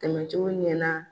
Tɛmɛcogo ɲɛna